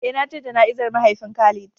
Eh na je jana'izar mahaifin Khalid.